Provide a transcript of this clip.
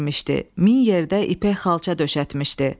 Min yerdə ipək xalça döşətmişdi.